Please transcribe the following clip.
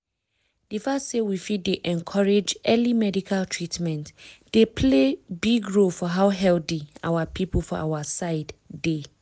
di fact say we fit dey encourage early medical treatment dey play big role for how healthy our people for our side dey.